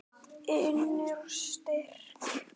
Innri styrk.